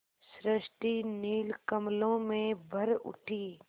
सृष्टि नील कमलों में भर उठी